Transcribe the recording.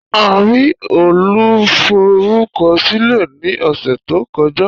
A rí Olùforúkọsílẹ̀ ní ọ̀sẹ̀ tó kọjá